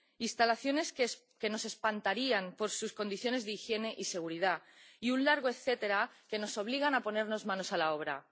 instalaciones que nos espantarían por sus condiciones de higiene y seguridad, y un largo etcétera que nos obliga a ponernos manos a la obra.